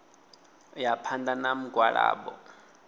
u ya phanḓa na mugwalabo